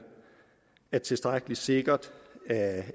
er det tilstrækkelig sikkert at